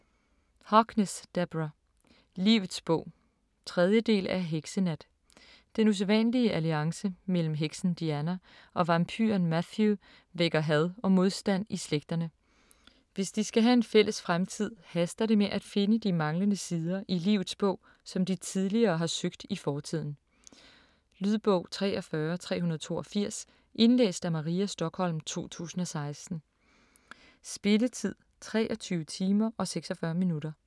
Harkness, Deborah: Livets bog 3. del af Heksenat. Den usædvanlige alliance mellem heksen Diana og vampyren Matthew vækker had og modstand i slægterne. Hvis de skal have en fælles fremtid, haster det med at finde de manglende sider i Livets Bog, som de tidligere har søgt i fortiden. Lydbog 43382 Indlæst af Maria Stokholm, 2016. Spilletid: 23 timer, 46 minutter.